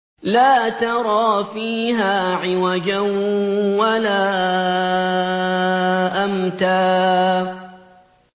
لَّا تَرَىٰ فِيهَا عِوَجًا وَلَا أَمْتًا